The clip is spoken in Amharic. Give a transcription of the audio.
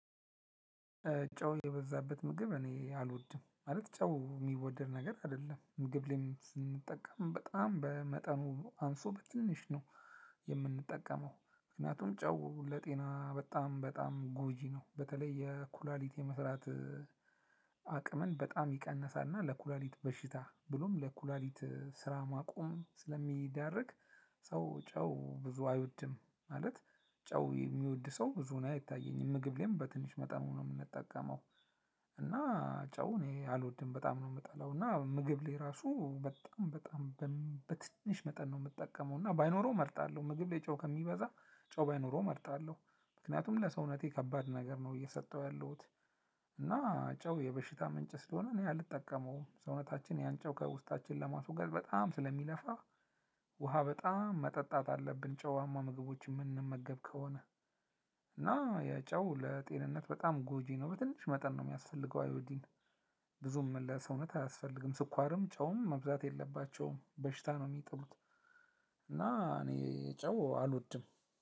ጨው የበዛበት ምግብ እኔ አልወድም ማለት ጨው የሚወደድ ነገር አይደለም ምግብ ላይም ስንጠቀም በጣም በመጠኑ አንሶ በትንሽ ነው የምንጠቀመው። ምክንያቱም ጨው ለጤና በጣም በጣም ጎጂ ነው በተለይ የኩላሊት የመስራት አቅምን በጣም ይቀነሳል። እና ለኩላሊት በሽታ ብሎም ለኩላሊት ስራ ማቆም ስለሚዳርግ። ሰው ጨው ብዙ አይወድም። ማለት ጨው የሚወድ ሰው ብዙ እኔ አይታየኝም ምግብ ላይም በትንሽ መጠኑ ነው የምንጠቀመው። እና ጨው እኔ አልወድም በጣም ነው የምጠላው እና ምግብ ላይ ራሱ በጣም በጣም በትንሽ መጠን ነው የምጠቀመው። እና ባይኖረው እመርጣለሁ ምግብ ላይ ጨው ከሚበዛ ጨው ባይኖረው እመርጣለሁ። ምክንያቱም ለሰውነቴ ከባድ ነገር ነው እየሰጠሁ ያለሁት። እና ጨው የበሽታ ምንጭ ስለሆነ እኔ አልጠቀመውም ሰውነታችን ያንጨው ከውስጣችን ለማስወገድ በጣም ስለሚለፋ። ውሃ በጣም መጠጣት አለብን ጨዋማ ምግቦችን እምንመገብ ከሆነ። እና ያ ጨው ለጤንነት በጣም ጎጂ ነው። በትንሽ መጠን ነው የሚያስፈልገው አይዎዲን ብዙም ለሰውነት አያስፈልግም። ስኳርም ጨውም መብዛት የለባቸውም በሽታ ነው የሚጥሉት። እና እኔ ጨው አልወድም።